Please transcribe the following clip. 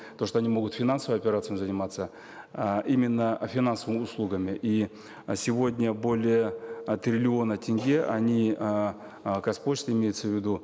то что они могут финансовыми операциями заниматься э именно э финансовыми услугами и сегодня более э триллиона тенге они эээ казпочта имеется в виду